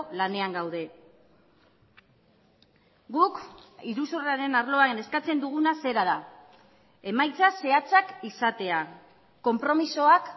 lanean gaude guk iruzurraren arloan eskatzen duguna zera da emaitza zehatzak izatea konpromisoak